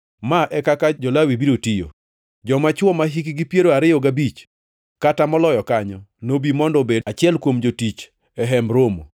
“Ma e kaka jo-Lawi biro tiyo: Joma chwo mahikgi piero ariyo gabich kata moloyo kanyo nobi mondo obed achiel kuom jotich e Hemb Romo,